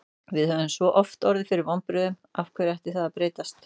Við höfum svo oft orðið fyrir vonbrigðum, af hverju ætti það að breytast?